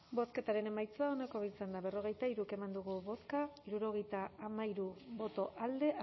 bozketaren emaitza onako izan da berrogeita hiru eman dugu bozka hirurogeita hamairu boto alde